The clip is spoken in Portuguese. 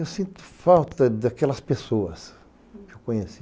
Eu sinto falta daquelas pessoas que eu conheci.